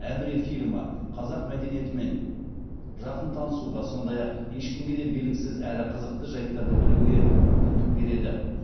әміре фильмі қазақ мәдениетімен жақын танысуға сондай ақ ешкімге де белгісіз әрі қызықты жәйттарды білуге мүмкіндік береді